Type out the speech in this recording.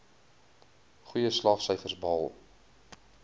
goeie slaagsyfers behaal